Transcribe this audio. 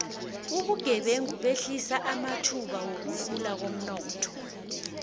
ubugebengu behlisa amathuba wokukhula komnotho